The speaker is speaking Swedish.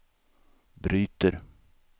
bryter